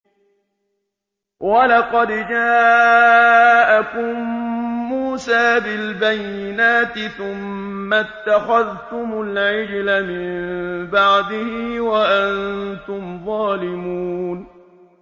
۞ وَلَقَدْ جَاءَكُم مُّوسَىٰ بِالْبَيِّنَاتِ ثُمَّ اتَّخَذْتُمُ الْعِجْلَ مِن بَعْدِهِ وَأَنتُمْ ظَالِمُونَ